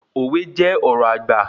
Òwe jẹ́ ọ̀rọ̀ àgbà